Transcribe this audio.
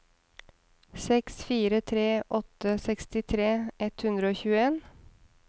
seks fire tre åtte sekstitre ett hundre og tjueen